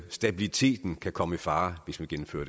stabiliteten kan komme i fare hvis man gennemfører